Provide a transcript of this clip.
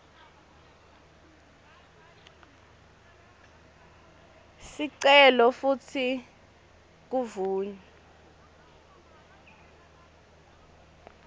sicelo futsi kuvunywe